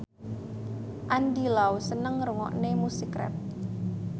Andy Lau seneng ngrungokne musik rap